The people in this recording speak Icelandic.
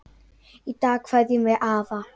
Í dag kveðjum við afa.